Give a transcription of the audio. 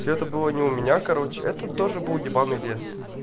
это было не у меня короче это тоже был ебанный лес